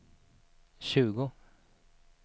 tjugo